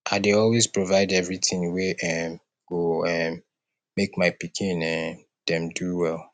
i dey always provide everytin wey um go um make my pikin um dem do well